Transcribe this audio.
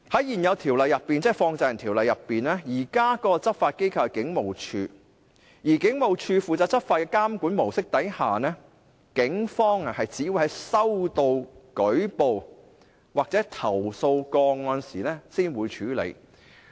現時《條例》的執法機構是警務處，而在警務處負責執法的監管模式下，警方只會在收到舉報或投訴個案時才會處理。